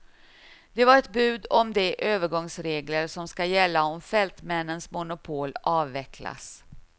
Det var ett bud om de övergångsregler som ska gälla om fältmännens monopol avvecklas.